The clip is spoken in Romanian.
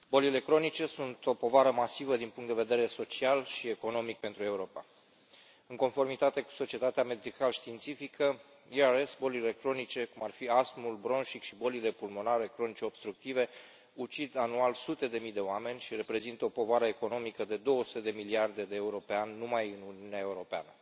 Doamnă președinte, bolile cronice sunt o povară masivă din punct de vedere social și economic pentru Europa. În conformitate cu societatea medical științifică ERS, bolile cronice, cum ar fi astmul bronșic și bolile pulmonare cronice obstructive, ucid anual sute de mii de oameni și reprezintă o povară economică de două sute de miliarde de euro pe an numai în Uniunea Europeană.